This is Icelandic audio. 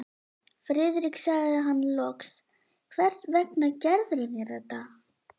Friðrik sagði hann loks, hvers vegna gerðirðu mér þetta?